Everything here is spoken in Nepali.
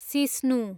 सिस्नु